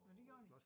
Nå det gjorde de?